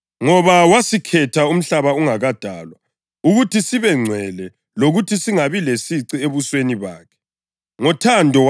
Ngoba wasikhetha umhlaba ungakadalwa ukuthi sibe ngcwele lokuthi singabi lasici ebusweni bakhe. Ngothando